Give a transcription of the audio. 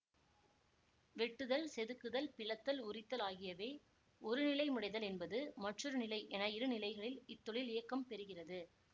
வெட்டுதல் செதுக்குதல் பிளத்தல் உரித்தல் ஆகியவை ஒருநிலை முடைதல் என்பது மற்றொருநிலை என இருநிலைகளில் இத்தொழில் இயக்கம் பெறுகிறது